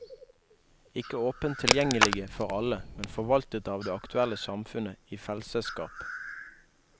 Ikke åpent tilgjengelige for alle, men forvaltet av det aktuelle samfunnet i fellsesskap.